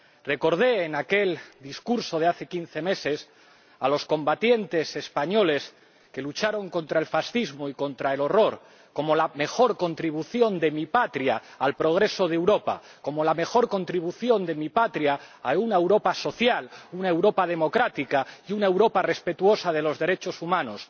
Recordé, en aquel discurso de hace quince meses, a los combatientes españoles que lucharon contra el fascismo y contra el horror como la mejor contribución de mi patria al progreso de Europa, como la mejor contribución de mi patria a una Europa social, una Europa democrática y una Europa respetuosa de los derechos humanos.